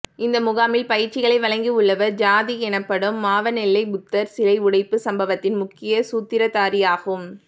இந்த முகாமில் பயிற்சிகளை வழங்கியுள்ளவர் சாதிக் எனப்படும் மாவனெல்லை புத்தர் சிலை உடைப்பு சம்பவத்தின் முக்கிய சூத்திரதாரியாகும்